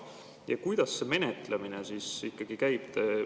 Ja kuidas see menetlemine ikkagi käib?